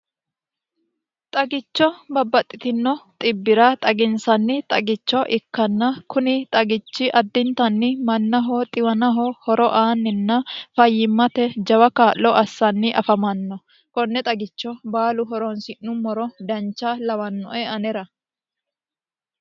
xagicho babbaxxitino xibbi'ra xaginsanni xagicho ikkanna kuni xagichi addintanni mannaho xiwanaho horo aanninna fayyimmate jawa kaa'lo assanni afamanno konne xagicho baalu horoonsi'nummoro dancha lawannoe anera